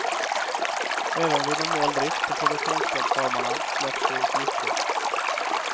Även vid normal drift på produktionsplattformarna släpps det ut gifter.